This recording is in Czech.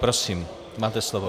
Prosím máte slovo.